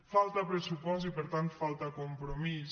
falta pressupost i per tant falta compromís